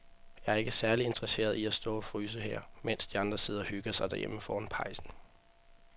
Jeg er ikke særlig interesseret i at stå og fryse her, mens de andre sidder og hygger sig derhjemme foran pejsen.